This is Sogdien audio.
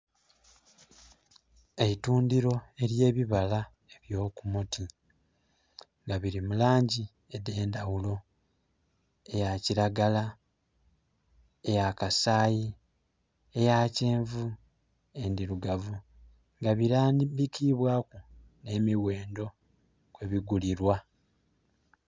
Eitundiro eryebibala ebyokumuti nga biri mu langi edhendaghulo, eya kiragala, eya kasaayi, eyakyenvu, ndirugavu nga birambikibwaku emighendo kwebigulilwa.